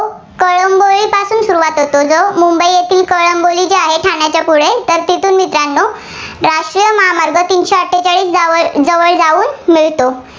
सुरुवात होता. जो मुंबई येथीळ कळंबोली येथे आहे, ठाण्याच्या पुढे तर तेथून मित्रांनो राष्ट्रीय महामार्ग तिनशे आठेचाळीस जवळ जाऊन मिळतो.